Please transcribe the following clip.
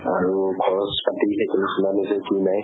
আৰু খৰচ পাতি কি নাই